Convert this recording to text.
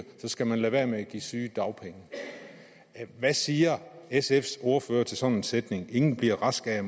så skal man lade være med at give sygedagpenge hvad siger sfs ordfører til sådan en sætning ingen bliver rask af